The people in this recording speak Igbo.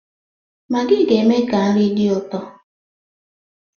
Maggi ga-eme ka nri dị ụtọ.